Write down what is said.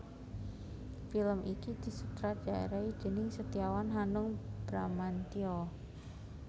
Film iki disutradharai déning Setiawan Hanung Bramantyo